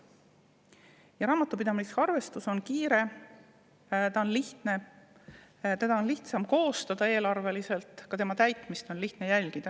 Ja raamatupidamislik arvestus on kiire ja lihtne: seda on eelarveliselt lihtsam koostada ja ka tema täitmist on lihtne jälgida.